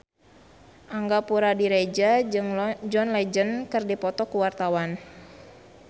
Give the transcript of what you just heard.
Angga Puradiredja jeung John Legend keur dipoto ku wartawan